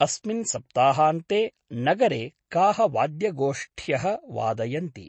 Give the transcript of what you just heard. अस्मिन् सप्ताहान्ते नगरे काः वाद्यगोष्ठ्यः वादयन्ति।